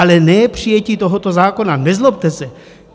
Ale ne přijetí tohoto zákona, nezlobte se.